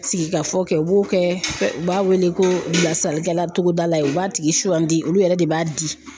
Sigikafɔ kɛ u b'o kɛ u b'a wele ko bilasalikɛla togodala ye u b'a tigi sugandi olu yɛrɛ de b'a di.